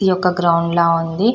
ఈ ఒక గ్రౌండ్ లా ఉంది.